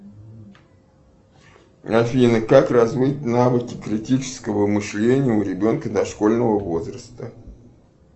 афина как развить навыки критического мышления у ребенка дошкольного возраста